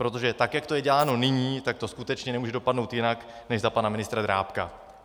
Protože tak jak to je děláno nyní, tak to skutečně nemůže dopadnout jinak než za pana ministra Drábka.